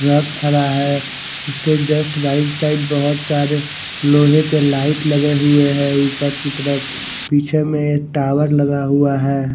Truck खड़ा है उसके जस्ट राइट साइड बहुत सारे लोहे के लाइट लगे हुए है ऊपर की तरफ पीछे में टावर लगा हुआ है।